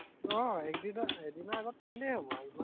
আহ একদিনৰ এদিনৰ আগত পঢ়িলেই হব আৰু ইমান